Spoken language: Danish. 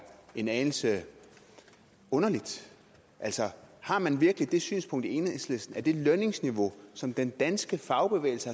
en anelse underligt altså har man virkelig det synspunkt i enhedslisten at det lønniveau som den danske fagbevægelse